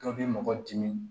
Dɔ bɛ mɔgɔ dimi